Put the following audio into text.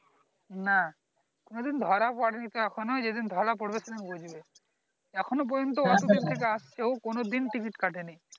না কোনদিন ধরা পরেনি তো এখনো যেদিন ধারা পরবে সেদিন বুঝবে এখনো পর্যন্ত এত দূর থেকে আসছে ও কোনো দিন ticket কাটে নি